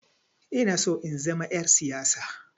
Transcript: Inaso in zama 'yar siyasa.